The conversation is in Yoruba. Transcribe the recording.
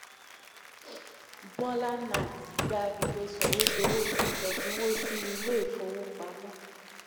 bhola nath gba ìwé sọ̀wédowó fi ẹ̀dínwó sí ilé ìfowópamọ́.